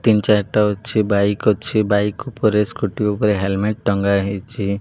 ତିନି ଚାରିଟା ଅଛି ବାଇକ୍ ଅଛି ବାଇକ୍ ଉପରେ ସ୍କୁଟି ଉପରେ ହେଲମେଟ ଟଙ୍ଗା ହେଇଚି।